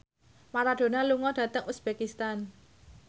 Maradona lunga dhateng uzbekistan